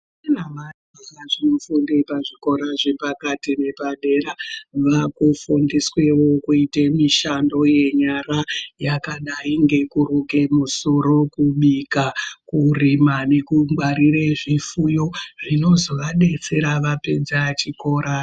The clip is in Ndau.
Vafundi vepazvikoro yezvepakati nepadera vakufundiswewo kuite mishando yenyara yakadayi ngekuruke kusoro, kubika, kurima nekungwarire zvifuyo zvinozovadetsera vapedza chikora.